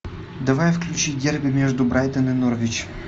давай включи дерби между брайтон и норвич